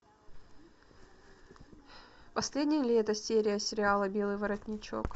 последнее лето серия сериала белый воротничок